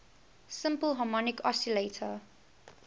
simple harmonic oscillator